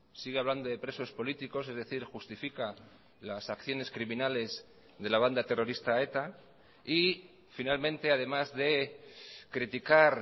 sigue hablando de presos políticos es decir justifica las acciones criminales de la banda terrorista eta y finalmente además de criticar